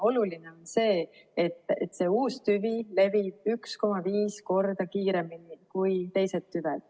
Oluline on see, et see uus tüvi levib 1,5 korda kiiremini kui teised tüved.